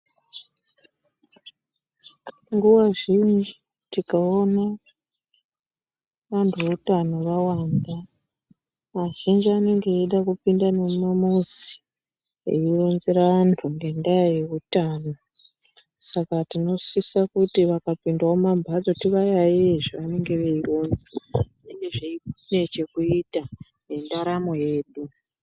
Nguva zhinji tikaona vantu veutano vawanda vazhinji vanenge veiita ekupinda mumamizi veironzera vanthu ngendaa yeutano saka tinosisa kuti vakapindawo mumambatso tivayayeye zvavanenge veironza zvinenge zvine chekuita nendaramo yedu.